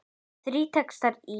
Þrír textar í